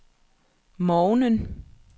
morgenen